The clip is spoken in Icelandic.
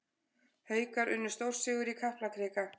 Haukar unnu stórsigur í Kaplakrika